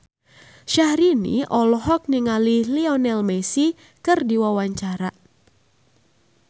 Syahrini olohok ningali Lionel Messi keur diwawancara